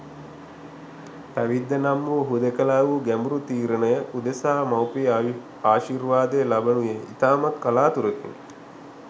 පැවිද්ද නම් වූ හුදෙකලා වූ ගැඹුරු තීරණය උදෙසා මවුපිය ආශිර්වාදය ලැබෙනුයේ ඉතාමත් කලාතුරකිනි.